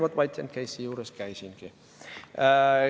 Vaat, White & Case'i juures käisingi.